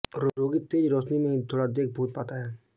रोगी तेज रोशनी में ही थोडा़बहुत देख पाता है